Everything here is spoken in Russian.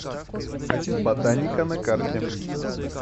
ботаника на карте